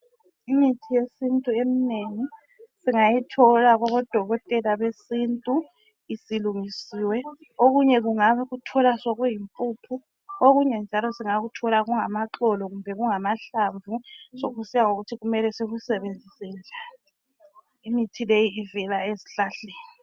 Imithi yesintu eminengi singayithola kubo Dokotela besintu isilungisiwe. Okunye ungakuthola sokuyimpuphu, okunye njalo singakuthola kungamaxolo kumbe kungamahlamvu sokusiya ngokuthi kumele sikusebenzise njani . Imithi leyi ivela ezihlahleni.